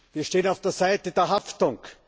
Wir stehen auf der Seite der Haftung.